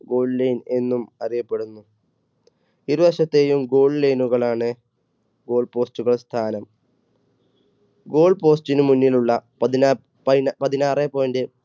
goal line എന്നും അറിയപ്പെടുന്നു. ഇരുവശത്തെയും goal line കൾ ആണ് goal post കൾ സ്ഥാനം goal post ന് മുന്നിലുള്ള പതിനാ~പതി~പതിനാറേ point